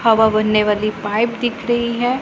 हवा भरने वाली पाइप दिख रही है।